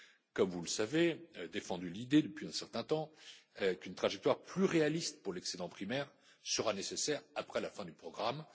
Comme vous le savez, nous avons défendu l'idée depuis un certain temps qu'une trajectoire plus réaliste pour l'excédent primaire sera nécessaire après la fin du programme.